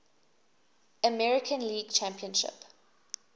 american league championship